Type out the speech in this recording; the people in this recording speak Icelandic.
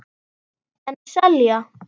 En selja.